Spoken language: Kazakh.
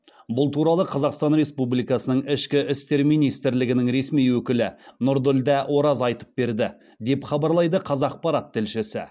бұл туралы қазақстан республикасының ішкі істер министрлігінің ресми өкілі нұрділдә ораз айтып берді деп хабарлайды қазақпарат тілшісі